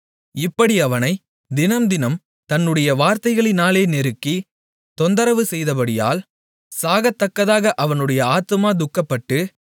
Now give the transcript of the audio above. இப்படி அவனைத் தினம்தினம் தன்னுடைய வார்த்தைகளினாலே நெருக்கி தொந்தரவுசெய்தபடியால் சாகத்தக்கதாக அவனுடைய ஆத்துமா துக்கப்பட்டு